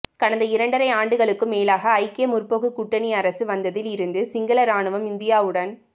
கடந்த இரண்டரை ஆண்டுகளுக்கும் மேலாக ஐக்கிய முற்போக்கு கூட்டணி அரசு வந்ததில் இருந்து சிங்கள இராணுவம் இந்தியாவுடன்